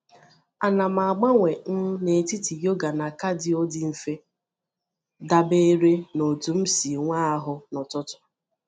Ana m agbanwe um n’etiti yoga na cardio dị mfe, dabere n’otú m si nwe ahụ n’ụtụtụ.